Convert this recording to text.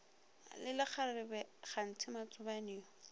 le lekgarebe kganthe matsobane yo